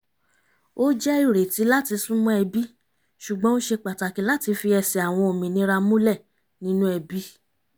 ó jẹ́ ìrètí láti súnmọ́ ẹbí ṣùgbọ́n ó ṣe pàtàkì láti fi ẹsẹ̀ àwọn òmìnira múlẹ̀ nínú ẹbí